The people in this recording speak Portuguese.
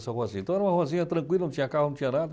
Então era uma ruazinha tranquila, não tinha carro, não tinha nada.